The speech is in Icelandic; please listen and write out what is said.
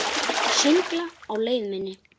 Söngla á leið minni.